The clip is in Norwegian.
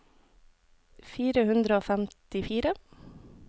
fire hundre og femtifire